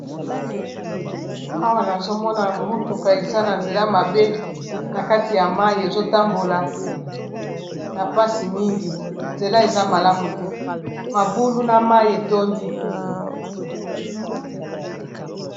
Awa nazomona motuka eza na nzela mabe na kati ya mayi ezotambola na mpasi mingi nzela eza malamu te mabulu na mayi etondi.